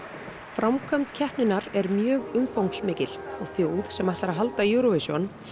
framkvæmd keppninnar er mjög umfangsmikil og þjóð sem ætlar að halda Eurovision